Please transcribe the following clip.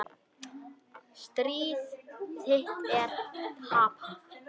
Stríð þitt er tapað.